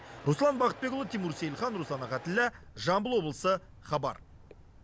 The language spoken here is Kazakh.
руслан бақытбекұлы тимур сейілхан руслан ахатіллә жамбыл облысы хабар